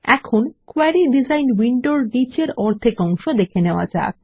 এখন query design উইন্ডোর নিচের অর্ধেক অংশ দেখা যাক